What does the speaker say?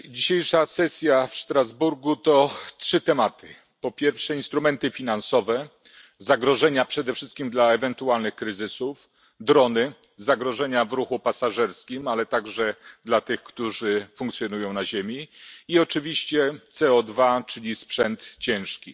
Panie Przewodniczący! Dzisiejsza sesja w Strasburgu to trzy tematy po pierwsze instrumenty finansowe, zagrożenia przede wszystkim dla ewentualnych kryzysów, drony, zagrożenia w ruchu pasażerskim ale także dla tych, którzy funkcjonują na ziemi, i oczywiście CO2, czyli sprzęt ciężki.